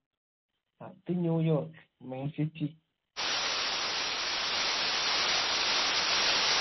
അത് New York main city